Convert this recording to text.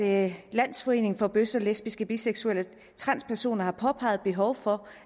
at landsforeningen for bøsser lesbiske biseksuelle og transpersoner har påpeget et behov for